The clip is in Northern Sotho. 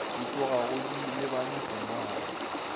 di tlogago di lebane sengwalwa